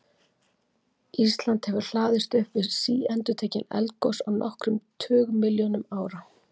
Ísland hefur hlaðist upp við síendurtekin eldgos á nokkrum tugmilljónum ára.